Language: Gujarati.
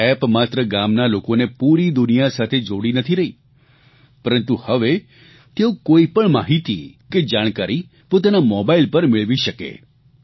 આ એપ માત્ર ગામના લોકોને પૂરી દુનિયા સાથે જોડી નથી રહી પરંતુ હવે તેઓ કોઇપણ માહીતી કે જાણકારી પોતાના મોબાઇલ પર મેળવી શકે